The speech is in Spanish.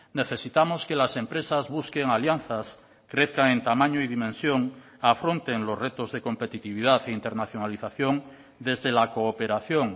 necesitamos que las empresas busquen alianzas crezcan en tamaño y dimensión afronten los retos de competitividad e internacionalización desde la cooperación